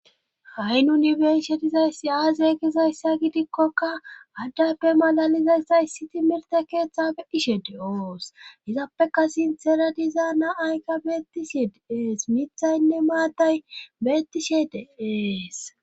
Ha' nuni beinshe dizayssi aazeeegizayssa gidikkokka addappe malalizayssaysi timirte keeththe betishe de7oos hizappe ka sintera dizaana aykka beettishe deees mithaynne maatay beettishe deees.